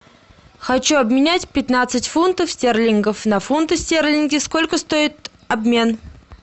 хочу обменять пятнадцать фунтов стерлингов на фунты стерлинги сколько стоит обмен